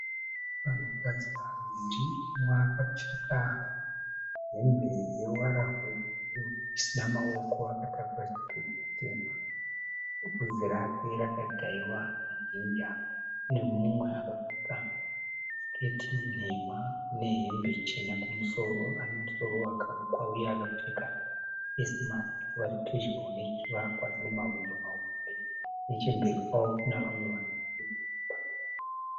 Vanhukadzi vaviri umwe akapfeka hembe yeruvara rwebhuruu isina maoko. Akatakura chibhegi chitema. Bvudzi rake rakadhayiwa nejinja. Nemumwe akapfeka siketi nhema nehembe chena kumusoro. Ane musoro wakarukwa uye akapfeka face mask. Vari pedyo nechivakwa chine mahwindo mahombe. Nechemberi kwavo kune vamwe vanhu vanoonekwa.